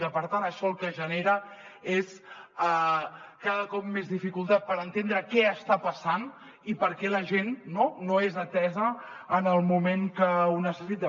i per tant això el que genera és cada cop més dificultat per entendre què està passant i per què la gent no no és atesa en el moment que ho necessita